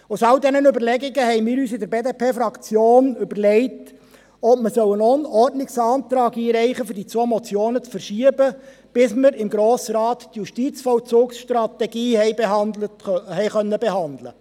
Aus all diesen Überlegungen haben wir uns in der BDP-Fraktion überlegt, ob wir einen Ordnungsantrag für die Verschiebung der zwei Motionen einreichen sollen, bis wir im Grossen Rat die Justizvollzugsstrategie behandeln konnten.